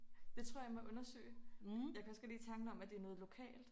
Det tror jeg må undersøge jeg kan også godt lide tanken om at det er noget lokalt